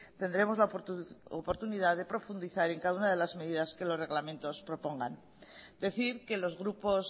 tendremos la oportunidad de profundizar en cada una de las medidas que los reglamentos propongan decir que los grupos